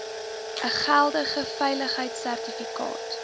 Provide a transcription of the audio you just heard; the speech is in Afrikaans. n geldige veiligheidsertifikaat